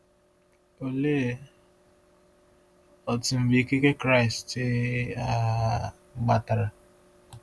Olee otú na mgbe ikike Kraịst um gbatara?